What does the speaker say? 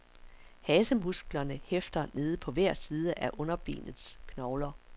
Hasemusklerne hæfter nede på hver side af underbenets knogler.